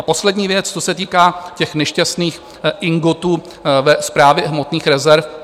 A poslední věc, co se týká těch nešťastných ingotů ve Správě hmotných rezerv.